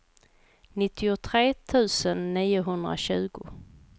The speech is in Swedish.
nittiotre tusen niohundratjugo